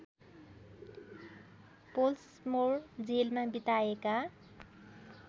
Pollsmoor जेलमा बिताएका